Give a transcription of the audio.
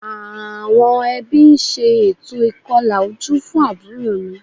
Àwọn ẹbí ń ṣe ètò ìkọlà ojú fún àbúrò mi